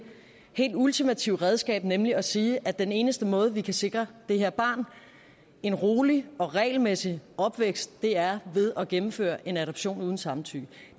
helt ultimative redskab nemlig at sige at den eneste måde vi kan sikre det her barn en rolig og regelmæssig opvækst er ved at gennemføre en adoption uden samtykke